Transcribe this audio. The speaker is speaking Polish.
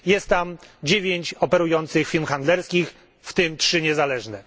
Jest tam 9 operujących firm handlingowych, w tym 3 niezależne.